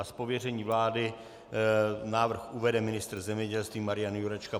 Z pověření vlády návrh uvede ministr zemědělství Marian Jurečka.